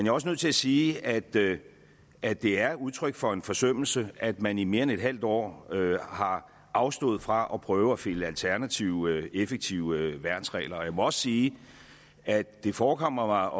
er også nødt til at sige at det er det er udtryk for en forsømmelse at man i mere end et halvt år har afstået fra at prøve at finde alternative effektive værnsregler og jeg må også sige at det forekommer